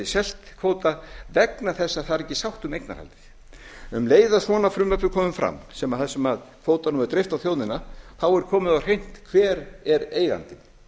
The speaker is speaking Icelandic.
selt kvóta vegna þess að það er ekki sátt um eignarhaldið um leið og svona frumvarp er komið fram þar sem kvótanum var dreift á þjóðina þá var komið á hreint hver er eigandinn